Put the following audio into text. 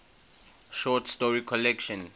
short story collection